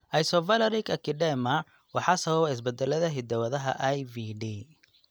Isovaleric acidemia waxaa sababa isbeddellada hidda-wadaha IVD.